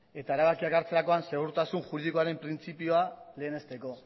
eta erabakiak hartzerakoan segurtasun juridikoaren printzipioa lehenesteko